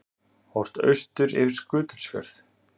Horft austur yfir Skutulsfjörð.